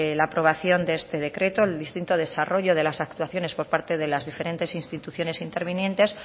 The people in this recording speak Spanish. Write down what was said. la aprobación de este decreto el distinto desarrollo de las actuaciones por parte de las diferentes instituciones intervinientes